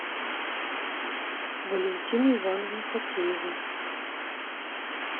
валентину ивановну фатееву